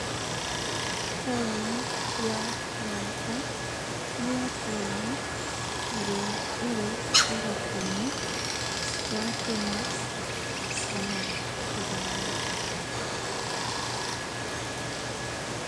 Taũni ya maraba, nĩyo taũni ĩrĩa ĩrĩ mũhakain,ĩ wa Kenya ona Ũganda.